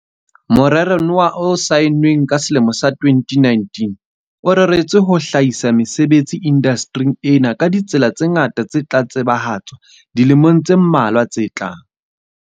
Morero noa o saennweng ka selemo sa 2019, o reretswe ho hlahisa mesebetsi indaste ring ena ka ditsela tse ngata tse tla tsebahatswa dilemong tse mmalwa tse tlang.